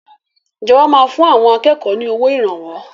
Ìjọba máa fún àwọn akẹ́kọ̀ọ́ ni owó Ìrànwọ́